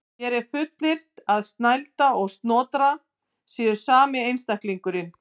Hér er fullyrt að Snælda og Snotra séu sami einstaklingurinn.